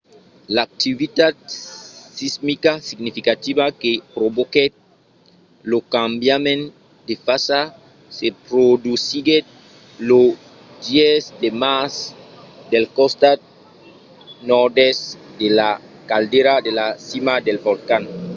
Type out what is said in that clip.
l'activitat sismica significativa que provoquèt lo cambiament de fasa se produsiguèt lo 10 de març del costat nòrd-èst de la caldera de la cima del volcan